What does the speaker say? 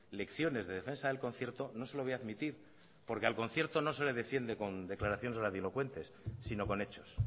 lecciones de defensa del concierto no se lo voy a admitir porque al concierto no se le defiende con declaraciones grandilocuentes sino con hechos